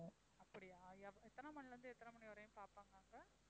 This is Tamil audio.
அப்படியா எ~ எத்தனை மணியிலிருந்து எத்தனை மணி வரையும் பார்ப்பாங்க அங்க?